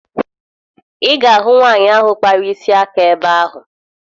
Ị ga-ahụ nwaanyị ahụ kpara isi aka ebe ahụ